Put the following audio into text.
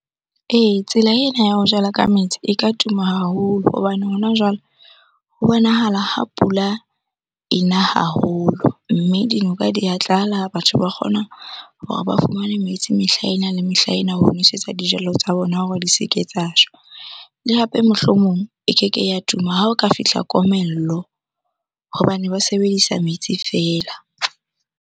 Ee, tsela ena ya ho jala ka metsi e ka tuma haholo hobane hona jwale ho bonahala ha pula e na haholo mme dinoka di a tlala, batho ba kgonang hore ba fumane le metsi mehla ena le mehla ena ho nwesetsa dijalo tsa bona hore di se ke tsa shwa. Le hape mohlomong e keke ya tuma ha o ka fihla komello hobane ba sebedisa metsi feela.